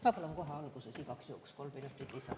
Ma palun kohe alguses igaks juhuks kolm minutit lisaaega.